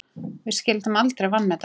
Við skyldum aldrei vanmeta það.